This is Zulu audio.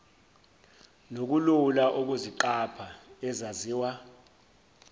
nokulula ukuziqapha ezaziwa